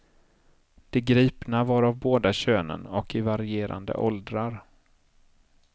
De gripna var av båda könen och i varierande åldrar.